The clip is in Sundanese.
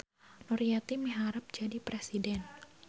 Nuryeti miharep jadi presiden